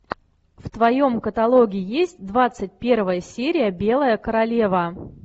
в твоем каталоге есть двадцать первая серия белая королева